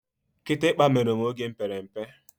Kitikpa mere m oge m pere mpe.